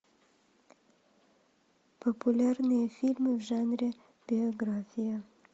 популярные фильмы в жанре биография